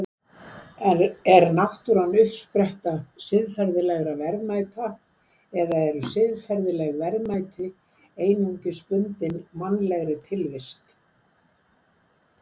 Er náttúran uppspretta siðferðilegra verðmæta eða eru siðferðileg verðmæti einungis bundin mannlegri tilvist?